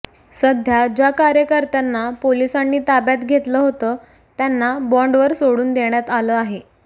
सध्या ज्या कार्यकर्त्यांना पोलिसांनी ताब्यात घेतलं होतं त्यांना बॉन्डवर सोडून देण्यात आलं आहे